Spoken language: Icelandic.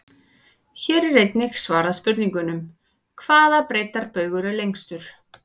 Hér er einnig svarað spurningunum: Hvaða breiddarbaugur er lengstur?